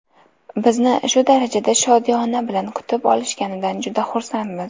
Bizni shu darajada shodiyona bilan kutib olishganidan juda xursandmiz.